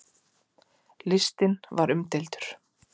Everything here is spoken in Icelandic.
Listinn var umdeildur.